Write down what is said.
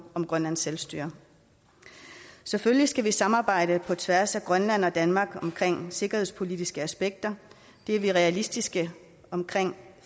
om grønlands selvstyre selvfølgelig skal vi samarbejde på tværs af grønland og danmark om sikkerhedspolitiske aspekter det er vi realistiske om